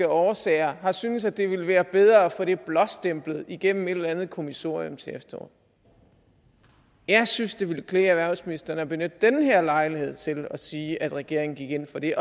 årsager har syntes at det ville være bedre at få det blåstemplet igennem et eller andet kommissorium til efteråret jeg synes det ville klæde erhvervsministeren at benytte den her lejlighed til at sige at regeringen gik ind for det